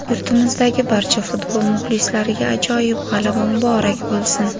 Yurtimizdagi barcha futbol muxlislariga ajoyib g‘alaba muborak bo‘lsin!.